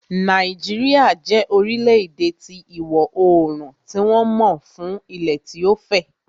Nàìjíríà jẹ́ orílẹ̀-èdè ti ìwọ oorùn tí wọ́n mọ ń fún ilẹ̀ tí ó fẹ̀